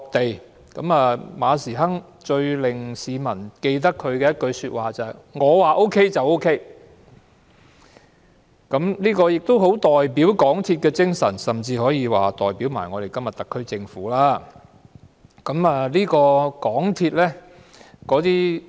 港鐵公司主席馬時亨最令市民印象深刻的一句是"我說 OK 便 OK"， 這句話盡顯港鐵的精神，甚至今天的特區政府也是這種態度。